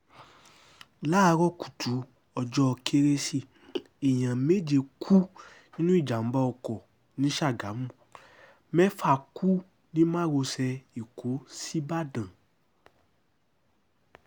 láàárọ̀ kùtù ọjọ́ kérésì èèyàn méje kú nínú ìjàm̀bá ọkọ̀ ni sàgámù mẹ́fà kú ní márosẹ̀ ẹ̀kọ́ síbàdàn